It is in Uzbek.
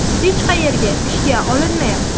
Hech qayerga ishga olinmayapti.